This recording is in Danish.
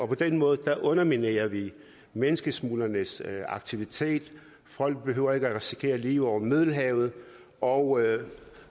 på den måde underminerer vi menneskesmuglernes aktivitet og folk behøver ikke at risikere livet over middelhavet og